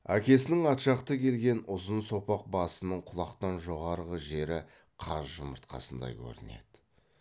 әкесінің ат жақты келген ұзын сопақ басының құлақтан жоғарғы жері қаз жұмыртқасындай көрінеді